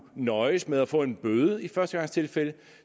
nøjes med at få en bøde i førstegangstilfælde